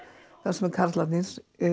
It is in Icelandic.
sem karlarnir